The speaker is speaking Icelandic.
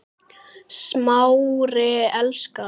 Smári elskar